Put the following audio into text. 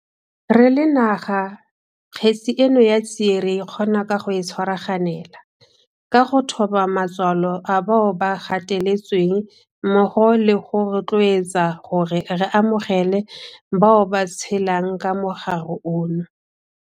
Re le naga kgetse eno ya tsie re e kgona ka go e tshwaraganela, ka go thoba matswalo a bao ba gateletsweng mmogo le go rotloetsana gore re amogele bao ba tshelang ka mogare ono.